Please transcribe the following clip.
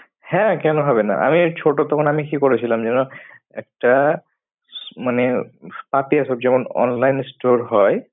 হ্যাঁ কেন হবে না? আমি ছোট তখন আমি কি করেছিলাম যেন একটা মানে পাপিয়া সব যেমন online store হয়।